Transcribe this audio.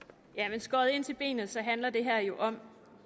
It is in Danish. skåret ind til benet handler det her jo om